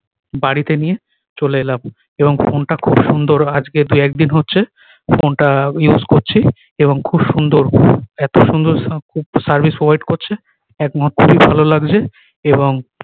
বাড়িতে নিয়ে চলে এলাম এবং ফোন টা খুব সুন্দর আজকে দুই একদিন হচ্ছে ফোন টা use করছি এবং খুব সুন্দর এত সুন্দর সা service provide করছে একমাত্র ভালো লাগছে এবং